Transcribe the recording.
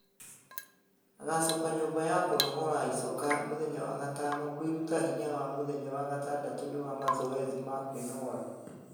Agacoka nyũmba ya kũnogora icoka muthenya wa gatano kwĩruta hinya na mũthenya wa gatandatũ ni wa mazoezi ma kwĩnogora